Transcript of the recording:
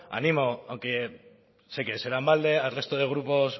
animo aunque sé que será en balde al resto de grupos